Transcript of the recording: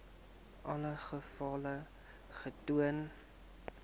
alle gevalle getoon